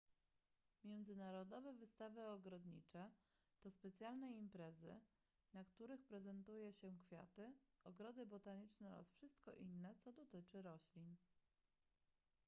międzynarodowe wystawy ogrodnicze to specjalne imprezy na których prezentuje się kwiaty ogrody botaniczne oraz wszystko inne co dotyczy roślin